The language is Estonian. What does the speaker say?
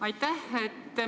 Aitäh!